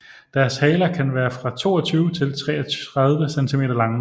Deres haler kan være fra 22 til 33 cm lange